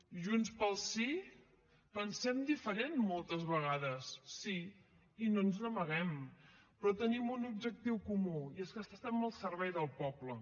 junts pel sí pensem diferent moltes vegades sí i no ens n’amaguem però tenim un objectiu comú i és que estem al servei del poble